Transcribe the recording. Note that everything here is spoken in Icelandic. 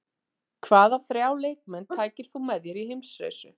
Hvaða þrjá leikmenn tækir þú með þér í heimsreisu?